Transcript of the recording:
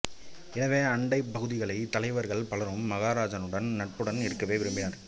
எனவே அண்டைப் பகுதிகளின் தலைவர்கள் பலரும் மகாராஜாவுடன் நட்புடன் இருக்கவே விரும்பினர்